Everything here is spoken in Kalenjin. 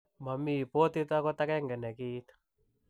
Mami botit agot agenge ne kiit.